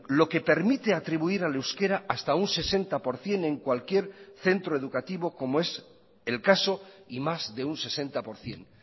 lo que permite atribuir al euskera hasta un sesenta por ciento en cualquier centro educativo como es el caso y más de un sesenta por ciento